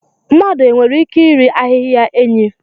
Mmadụ nwere ike iri ahịhịa enyí?